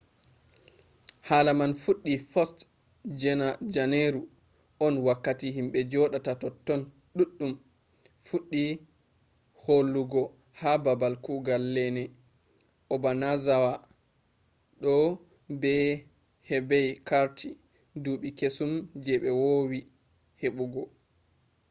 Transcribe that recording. hala man fuddi 1st je janeru on wakkati himbe jodata totton duddum fuddi holugo ha babal kugal lene obanazawa do be hebai carti duubi kesum je be vowi hebugo